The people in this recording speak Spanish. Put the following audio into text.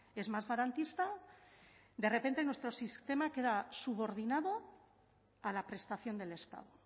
es más garantista de repente nuestro sistema queda subordinado a la prestación del estado